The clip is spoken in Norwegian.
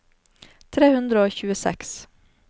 tre hundre og tjueseks